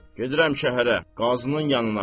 Gedirəm şəhərə, Qazının yanına.